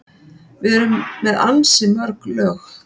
Við erum með ansi mörg lög.